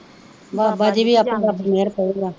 ਬਾਬਾ ਜੀ ਆਪਣੇ ਆਪ ਤੇ ਮਿਹਰ ਕਰੂਗਾ